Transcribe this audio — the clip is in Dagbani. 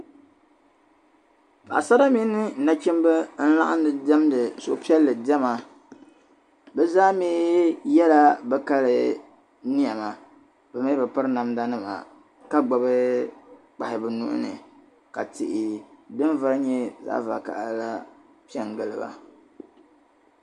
Paɣasara mini nachimba n-laɣim di diɛmdi suhupiɛlli diɛma be zaa mii yela be kali nɛma be mii be piri namdanima ka gbubi kpahi be nuu ni ka tihi din vari nyɛ zaɣ'vakahili la pe n-gili ba.